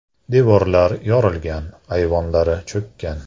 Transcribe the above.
Devorlar yorilgan, ayvonlari cho‘kkan”.